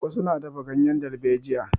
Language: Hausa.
Wasu na dafa ganyen dalbejiya.